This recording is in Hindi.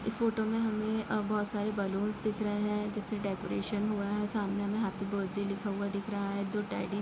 इस फोटो मे हमे अ-बहुत सारे बलूनस दिख रहे हैं जिससे डेकोरेशन हुआ है सामने हमे हैप्पी बर्थ्डै लिखा हुआ दिख रहा है दो टेडी --